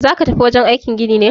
Zaka tafi wajen aikin gini ne?